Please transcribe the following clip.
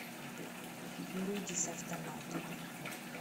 люди с автоматами